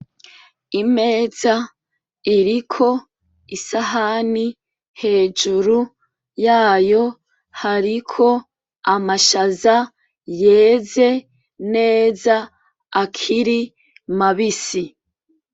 Imeza iriko isahani, hejuru yayo hariko amashaza yeze neza akiri mabisi.